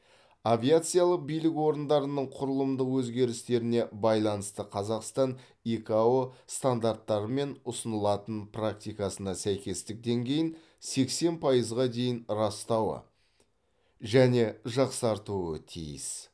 авиациялық билік орындарының құрылымдық өзгерістеріне байланысты қазақстан икао стандарттары мен ұсынылатын практикасына сәйкестік деңгейін сексен пайызға дейін растауы және жақсартуы тиіс